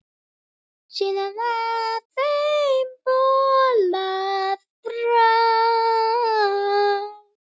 Síðar var þeim bolað frá.